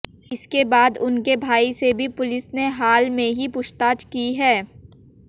इसके बाद उनके भाई से भी पुलिस ने हाल में ही पूछताछ की है